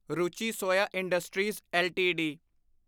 Ruchi Soya industries LTD